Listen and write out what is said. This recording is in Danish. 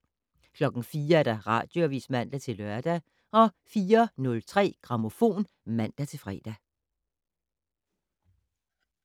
04:00: Radioavis (man-lør) 04:03: Grammofon (man-fre)